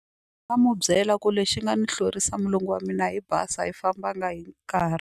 Nga mu byela ku lexi nga ni hlwerisa mulungu wa mina i basa a yi fambanga hi nkarhi.